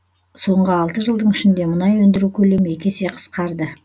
соңғы алты жылдың ішінде мұнай өндіру көлемі екі есе қысқарды